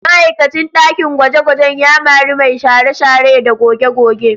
Ma'aikacin ɗakin gwaje-gwajen ya mari mai share-share da goge-goge